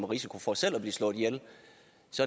risiko for selv at blive slået ihjel